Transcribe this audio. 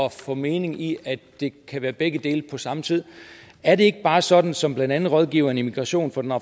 at få mening i at det kan være begge dele på samme tid er det ikke bare sådan som blandt andet rådgiveren i migrationsspørgsmål